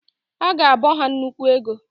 Aga abọ ha nnukwu ego.